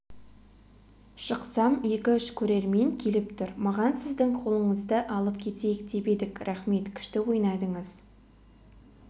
шықсам екі-үш көрермен келіп тұр маған сіздің қолыңызды алып кетейік деп едік рахмет күшті ойнадыңыз